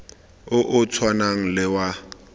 o o tshwanang le wa